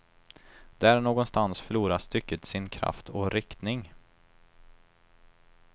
Där någonstans förlorar stycket sin kraft och riktning.